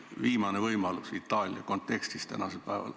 Viimane võimalus Itaalia kontekstis tänasel päeval.